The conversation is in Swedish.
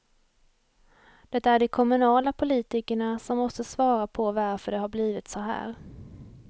Det är de kommunala politikerna som måste svara på varför det har blivit så här.